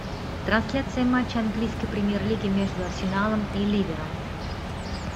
трансляция матча английской премьер лиги между арсеналом и ливером